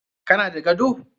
Ka na da gado?